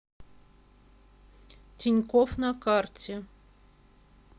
тинькофф на карте